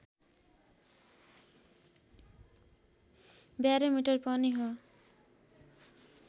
barometer पनि हो